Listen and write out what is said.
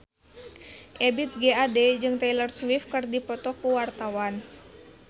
Ebith G. Ade jeung Taylor Swift keur dipoto ku wartawan